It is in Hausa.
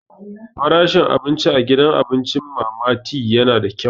Farashin abinci a gidan abincin Mama Tee yana da kyau.